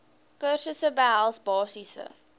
kursusse behels basiese